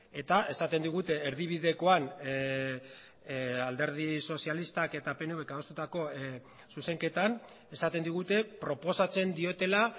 eta esaten digute erdibidekoan alderdi sozialistak eta pnvk adostutako zuzenketan esaten digute proposatzen diotela